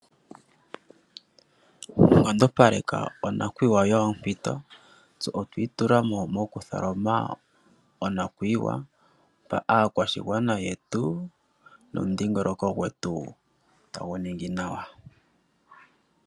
Nkondopaleka onakuyiwa yoompito. Tse otwa itula mo mokutholoma onakuyiwa, mpa aakwashigwana yetu nomudhingoloko gwetu tagu ningi nawa.